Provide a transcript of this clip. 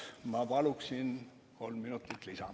Ma paluksin kolm minutit lisa.